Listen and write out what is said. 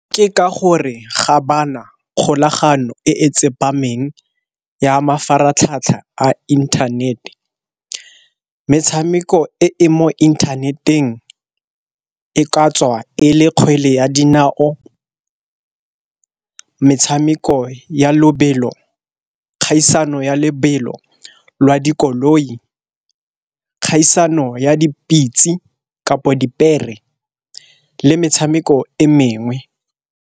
Ke ka gore ga ba na kgolagano e tsepameng ya mafaratlhatlha a inthanete. Metshameko e e mo inthaneteng e ka tswa e le kgwele ya dinao, metshameko ya lobelo, kgaisano ya lebelo lwa dikoloi, kgaisano ya dipitse kapo dipere, le metshameko e mengwe.